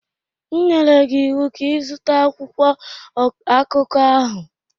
M nyere gị ịwụ ka ị zụta akwụkwọ akụkọ ahụ!